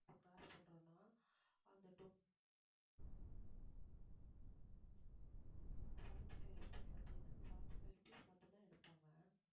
இப்ப cross பண்றோம்ன்னா அந்த seventy five rupees அப்படின்னா அந்த seventy five rupees மட்டும்தான் எடுப்பாங்க